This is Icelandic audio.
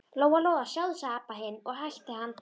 Lóa-Lóa, sjáðu, sagði Abba hin og hætti að anda.